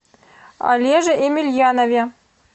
олеже емельянове